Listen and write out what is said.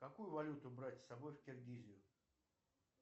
какую валюту брать с собой в киргизию